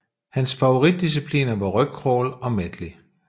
Hans favoritdiscipliner var rygcrawl og medley